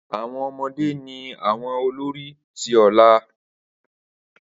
Awọn ọmọde ni awọn olori ti ọla.